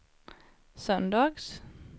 söndags